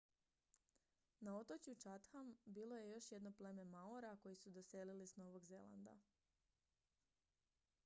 na otočju chatham bilo je još jedno pleme maora koji su doselili s novog zelanda